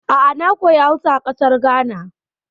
A'a, na koya Hausa a ƙasar Ghana.